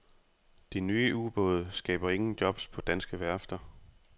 De nye ubåde skaber ingen jobs på danske værfter.